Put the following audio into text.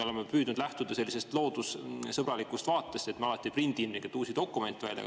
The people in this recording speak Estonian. Oleme püüdnud lähtuda sellisest loodussõbralikust vaatest, et me alati ei prindi uusi dokumente välja.